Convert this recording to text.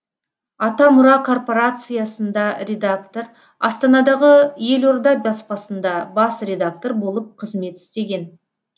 атамұра корпорациясында редактор астанадағы елорда баспасында бас редактор болып қызмет істеген